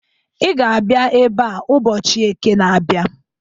I ga abịa ebe a ụbọchị Eke na-abịa!